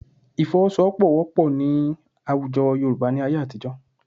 Ìfọwọ́sowọ́pọ̀ wọ́pọ̀ ní àwùjọ Yorùbá ní ayé àtijọ́